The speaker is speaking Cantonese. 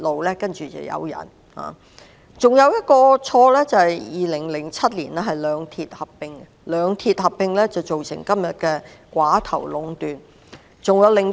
另一錯誤是在2007年讓兩鐵合併，造成今天的寡頭壟斷局面。